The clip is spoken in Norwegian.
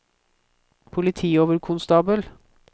politioverkonstabel